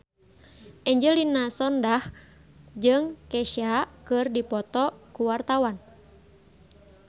Angelina Sondakh jeung Kesha keur dipoto ku wartawan